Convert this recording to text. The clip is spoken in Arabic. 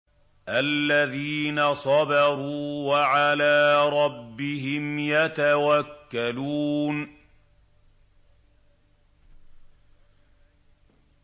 الَّذِينَ صَبَرُوا وَعَلَىٰ رَبِّهِمْ يَتَوَكَّلُونَ